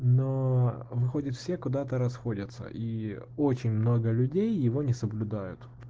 но выходит все куда-то расходятся и очень много людей его не соблюдают